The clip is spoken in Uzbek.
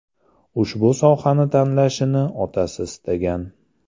Ushbu sohani tanlashini otasi istagan.